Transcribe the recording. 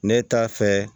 Ne t'a fɛ